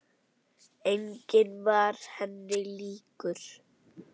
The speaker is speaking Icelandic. Enginn var henni líkur.